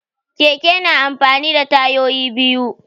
Keke na amfani da tayoyi biyu.